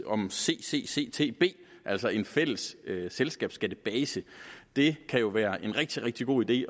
om ccctb altså en fælles selskabsskattebase det kan jo være en rigtig rigtig god idé